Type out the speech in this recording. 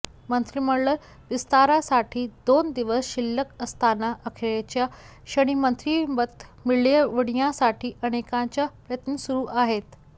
मंत्रिमंडळ विस्तारासाठी दोन दिवस शिल्लक असताना अखेरच्या क्षणी मंत्रिपद मिळविण्यासाठी अनेकांचे प्रयत्न सुरू आहेत